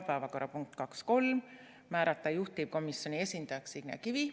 Päevakorrapunkt 2.3: määrata juhtivkomisjoni esindajaks Signe Kivi.